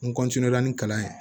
N ni kalan ye